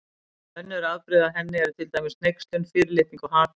Önnur afbrigði af henni eru til dæmis hneykslun, fyrirlitning og hatur.